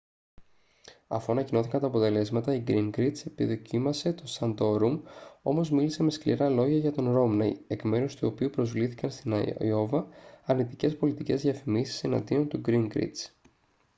αφού ανακοινώθηκαν τα αποτελέσματα ο γκίνγκριτς επιδοκίμασε τον σαντόρουμ όμως μίλησε με σκληρά λόγια για τον ρόμνεϊ εκ μέρους του οποίου προβλήθηκαν στην αϊόβα αρνητικές πολιτικές διαφημίσεις εναντίον του γκίνγκριτς